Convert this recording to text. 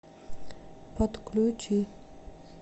подключи